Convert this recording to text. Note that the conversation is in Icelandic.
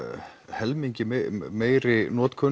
helmingi meiri notkun